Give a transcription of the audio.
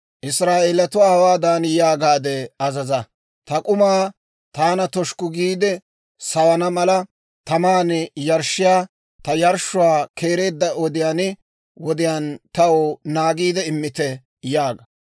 «Israa'eelatuwaa hawaadan yaagaade azaza; ‹Ta k'umaa, taana toshukku giide sawana mala, taman yarshshiyaa ta yarshshuwaa keereedda wodiyaan wodiyaan taw naagiide immite› yaaga.